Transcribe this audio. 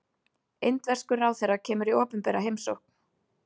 Indverskur ráðherra kemur í opinbera heimsókn